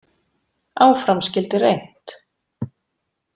Áfram skyldi reynt.